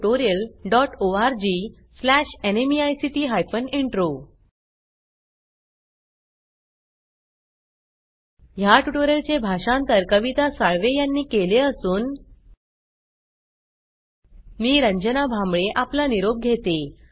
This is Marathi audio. याट्यूटोरियल चे भाषांतर कविता साळवे यानी केले असून मी रंजना भांबळे आपला निरोप घेते